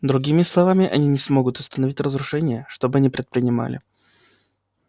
другими словами они не смогут остановить разрушение что бы ни предпринимали